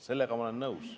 Sellega ma olen nõus.